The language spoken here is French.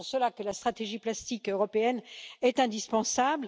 C'est pour cela que la stratégie plastique européenne est indispensable.